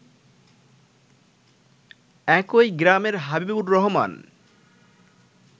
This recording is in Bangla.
একই গ্রামের হাবিবুর রহমান